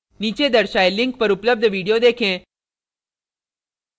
नीचे दर्शाये link पर उपलब्ध video देखें